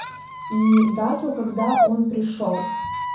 и дату когда он пришёл